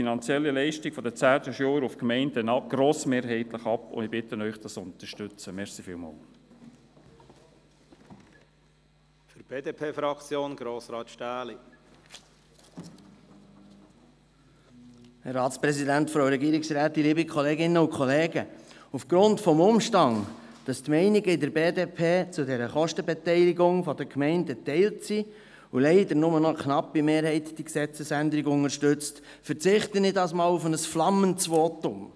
Aufgrund des Umstands, dass die Meinungen in der BDP zu dieser Kostenbeteiligung der Gemeinden geteilt sind und leider nur noch eine knappe Mehrheit diese Gesetzesänderung unterstützt, verzichte ich diesmal auf ein flammendes Votum.